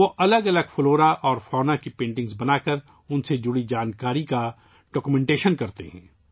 وہ متنوع نباتات اور حیوانات کی پینٹنگز بنا کر ، ان سے متعلق معلومات کو دستاویزی شکل دیتے ہیں